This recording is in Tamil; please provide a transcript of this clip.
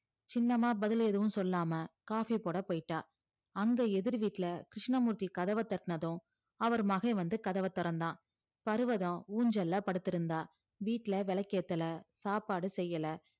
சின்னமா பதில் எதுவும் சொல்லாம coffee போடா போய்டா அந்த எதிர் வீட்டுல கிர்ஷ்ணமூர்த்தி கதவ தட்டுனது அவர் மகே வந்து கதவ திறந்தா பருவத ஊஞ்சல்ல படுத்து இருந்தா வீட்டுள்ள விளக்கு ஏத்தள சாப்பாடு செய்யல